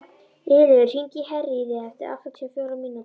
Ylur, hringdu í Herríði eftir áttatíu og fjórar mínútur.